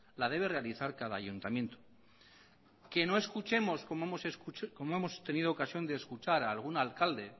las debe realizar cada ayuntamiento que no escuchemos como hemos tenido ocasión de escuchar a algún alcalde